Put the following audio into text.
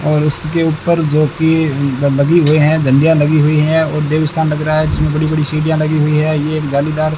और उसके ऊपर जो कि लगी हुई है झंडियां लगी हुई हैं और देव सा लग रहा है जिसमें बड़ी बड़ी सीढ़ियां लगी हुई हैं ये जालीदार --